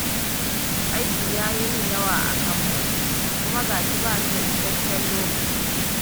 Aiki yayi min yawa a kamfani kuma gashi bani da isasshen lokaci